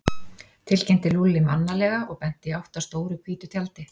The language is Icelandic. tilkynnti Lúlli mannalega og benti í átt að stóru hvítu tjaldi.